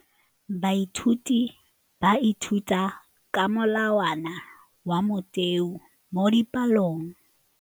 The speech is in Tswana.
Baithuti ba ithuta ka molawana wa motheo mo dipalong.